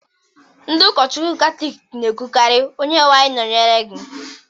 Ndị ụkọchukwu Katọlik na-ekwukarị "Onyenwe anyị nọnyere gị"